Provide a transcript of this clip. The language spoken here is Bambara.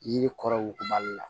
Yiri kɔrɔ wugubali la